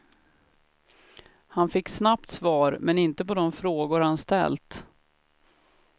Han fick snabbt svar men inte på de frågor han ställt.